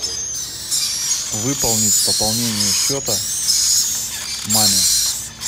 выполнить пополнение счета маме